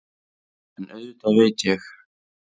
En auðvitað veit ég.